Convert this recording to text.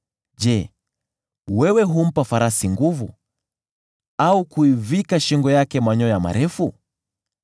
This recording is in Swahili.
“Je, wewe humpa farasi nguvu au kuivika shingo yake manyoya marefu?